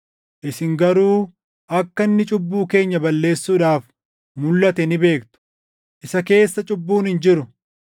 Isin garuu akka inni cubbuu keenya balleessuudhaaf mulʼate ni beektu. Isa keessa cubbuun hin jiru.